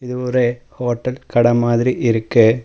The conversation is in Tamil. இது ஒரு ஹோட்டல் கட மாதிரி இருக்கு.